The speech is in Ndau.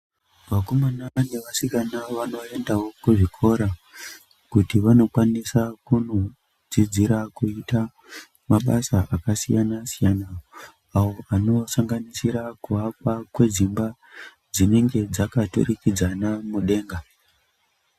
Vakomana nevasikana vanoendawo kuzvikora kuti vanokwanisa kunoodzidzira kuita mabasa akasiyanasiyana awo anosanganisira kuakwa kwedzimba dzinenge dzakaturukidzana mudenga.